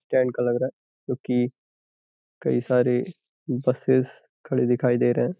Stand का लग रहा है क्योंकि कई सारे बसेस खड़े दिखाई दे रहे हैं।